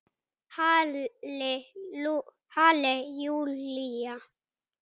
Halli Júlía!